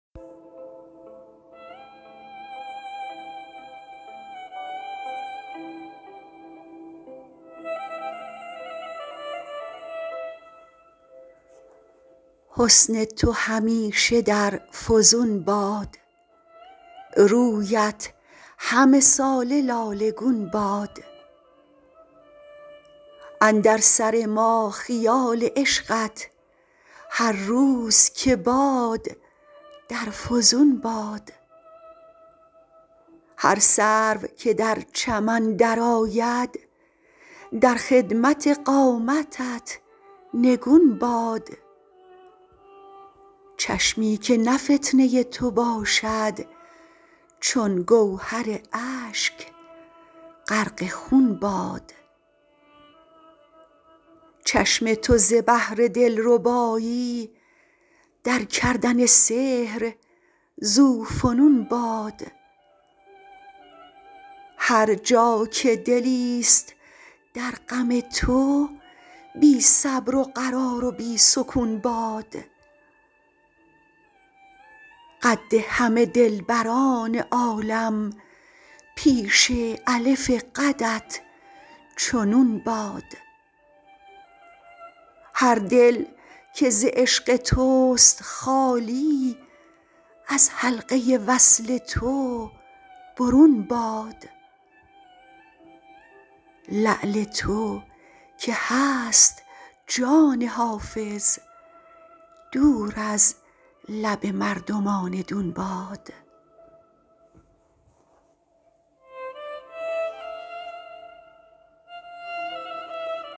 حسن تو همیشه در فزون باد رویت همه ساله لاله گون باد اندر سر ما خیال عشقت هر روز که باد در فزون باد هر سرو که در چمن درآید در خدمت قامتت نگون باد چشمی که نه فتنه تو باشد چون گوهر اشک غرق خون باد چشم تو ز بهر دلربایی در کردن سحر ذوفنون باد هر جا که دلیست در غم تو بی صبر و قرار و بی سکون باد قد همه دلبران عالم پیش الف قدت چو نون باد هر دل که ز عشق توست خالی از حلقه وصل تو برون باد لعل تو که هست جان حافظ دور از لب مردمان دون باد